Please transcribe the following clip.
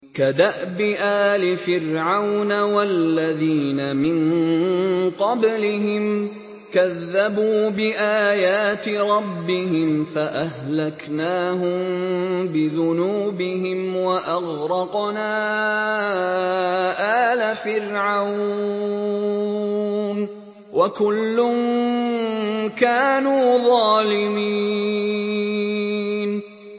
كَدَأْبِ آلِ فِرْعَوْنَ ۙ وَالَّذِينَ مِن قَبْلِهِمْ ۚ كَذَّبُوا بِآيَاتِ رَبِّهِمْ فَأَهْلَكْنَاهُم بِذُنُوبِهِمْ وَأَغْرَقْنَا آلَ فِرْعَوْنَ ۚ وَكُلٌّ كَانُوا ظَالِمِينَ